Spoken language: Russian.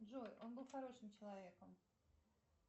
джой он был хорошим человеком